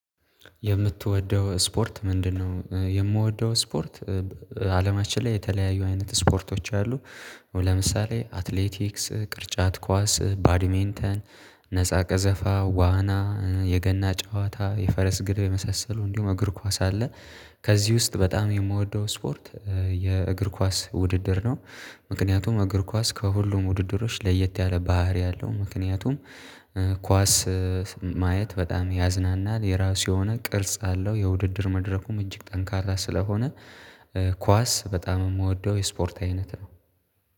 የምትወደው ስፖርት ምንድነው? የምወደው ስፖርት አለማችን ላይ የተለያዩ አይነት ስፖርቶች አሉ። ለምሳሌ አትሌቲክስ ቅርጫት ኳስ ባዲሜንተን ነፃ ቀዘፋ ዋና የገና ጨዋታ የፈረስ ግልቢያ የመሳሰሉ እንዲሁም እግር ኳስ አለ። ከዚህ ውስጥ በጣም የምወደው ስፖርት የእግር ኳስ ውድድር ነው። ምክንያቱም እግር ኳስ ከሁሉም ውድድሮች ለየት ያለ ባህሪ አለው ምክንያቱም ኳስ ማየት በጣም ያዝናናል። የራሱ የሆነ ቅርጽ አለው የውድድር መድረኩም እጅግ ጠንካራ ስለሆነ ኳስ በጣም የምወደው የስፖርት አይነት ነው።